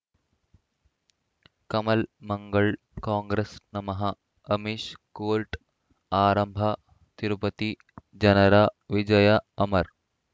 ಕಮಲ್ ಮಂಗಳ್ ಕಾಂಗ್ರೆಸ್ ನಮಃ ಅಮಿಷ್ ಕೋರ್ಟ್ ಆರಂಭ ತಿರುಪತಿ ಜನರ ವಿಜಯ ಅಮರ್